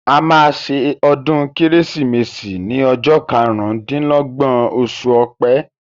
A ma ṣe ọdún Kérésìmesì ni ọjọ́ karùn-ún dín lọ́gbọ̀n oṣù Ọ̀pẹ